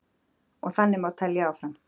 Og þannig má telja áfram.